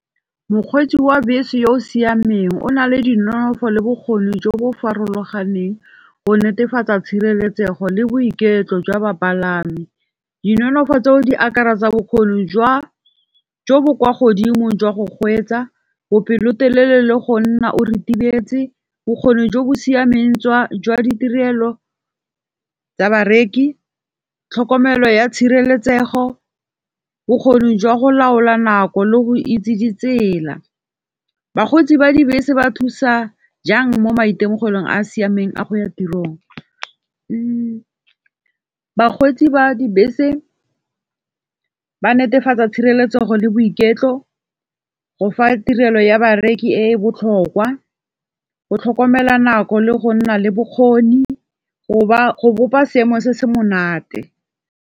Mokgweetsi wa bese yo o siameng o na le dinonofo le bokgoni jo bo farologaneng go netefatsa tshireletsego le boiketlo jwa bapalami. Di nonofo tseo di akaretsa tsa bokgoni jo bo kwa godimo jwa go kgweetsa, bo pelotelele le go nna o ritibetse, bokgoni jo bo siameng tswa jwa ditirelo tsa bareki, tlhokomelo ya tshireletsego, bokgoni jwa go laola nako le go itse ditsela. Bakgweetsi ba dibese ba thusa jang mo maitemogelong a a siameng a go ya tirong. Bakgweetsi ba dibese ba netefatsa tshireletsogo le boiketlo, go fa tirelo ya bareki e e botlhokwa, go tlhokomela nako le go nna le bokgoni, go ba go bopa seemo se se monate.